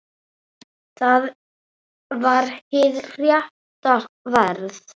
Það var hið rétta verð.